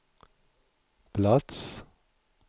plats